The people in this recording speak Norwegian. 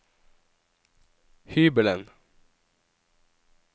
hybelen